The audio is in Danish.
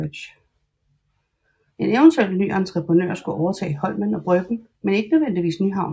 En eventuel ny entreprenør skulle overtage Holmen og Bryggen men ikke nødvendigvis Nyhavn